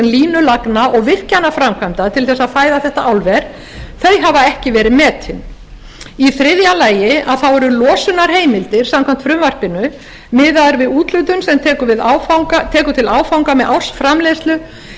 línulagna og virkjanaframkvæmda til þess að fæða þetta álver þau hafa ekki verið metin í þriðja lagi þá eru losunarheimildir samkvæmt frumvarpinu miðað við úthlutun sem tekur til áfanga með ársframleiðslu